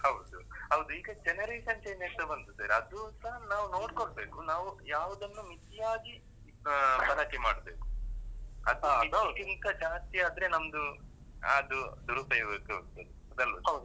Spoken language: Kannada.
ಹೌದು ಹೌದು ಈಗ generation change ಆಗ್ತಾ ಬಂತು sir. ಅದುಸ ನಾವ್ ನೋಡ್ಕೊಳ್ಬೇಕು. ನಾವು ಯಾವುದನ್ನೂ ಮಿತಿಯಾಗಿ ಅಹ್ ಬಳಕೆ ಮಾಡಬೇಕು. ಅದು ಮಿತಿಗಿಂತ ಜಾಸ್ತಿಯಾದ್ರೆ ನಮ್ದು ಅಹ್ ಅದು ದುರುಪಯೋಗಕ್ಕೆ ಹೋಗ್ತದೆ. ಹೌದಲ್ವಾ sir?